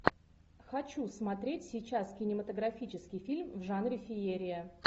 хочу смотреть сейчас кинематографический фильм в жанре феерия